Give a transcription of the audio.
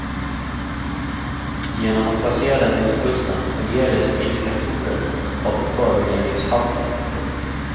Genom att placera dem längs kusten fungerar de som indikatorer av föroreningshalten. punkt